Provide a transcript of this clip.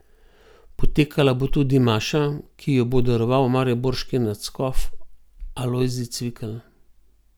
Potekala bo tudi maša, ki jo bo daroval mariborski nadškof Alojzij Cvikl.